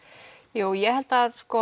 jú ég held að